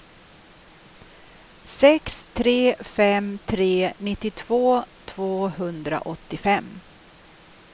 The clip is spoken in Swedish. sex tre fem tre nittiotvå tvåhundraåttiofem